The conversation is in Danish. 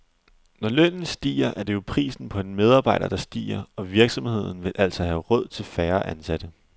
Når lønnen stiger, er det jo prisen på en medarbejder, der stiger, og virksomheden vil altså have råd til færre ansatte.